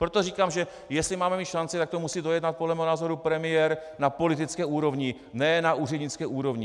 Proto říkám, že jestli máme mít šanci, tak to musí dojednat podle mého názoru premiér na politické úrovni, ne na úřednické úrovni.